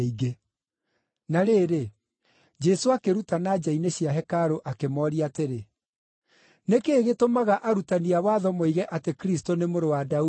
Na rĩrĩ, Jesũ akĩrutana nja-inĩ cia hekarũ akĩmooria atĩrĩ, “Nĩ kĩĩ gĩtũmaga arutani a watho moige atĩ Kristũ nĩ mũrũ wa Daudi?